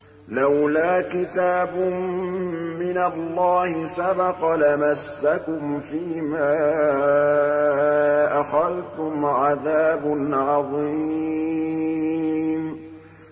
لَّوْلَا كِتَابٌ مِّنَ اللَّهِ سَبَقَ لَمَسَّكُمْ فِيمَا أَخَذْتُمْ عَذَابٌ عَظِيمٌ